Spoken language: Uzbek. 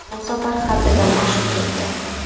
Bu safar haddidan oshib ketdi.